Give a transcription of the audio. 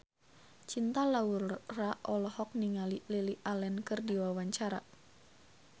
Cinta Laura olohok ningali Lily Allen keur diwawancara